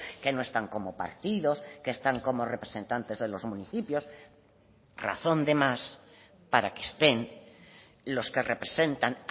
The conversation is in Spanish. que no están como partidos que están como representantes de los municipios razón de más para que estén los que representan